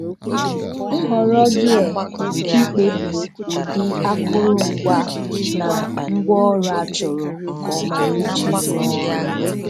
Nhọrọ Gear-Ịkpebi ụdị akụrụngwa na ngwaọrụ achọrọ um nke ọma iji rụọ ọrụ.